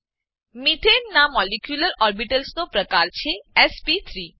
મેથાને methane નાં molecular orbitals નો પ્રકાર છે એસપી3